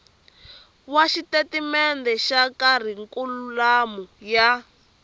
wa xitatimende xa kharikhulamu ya